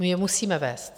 My je musíme vést.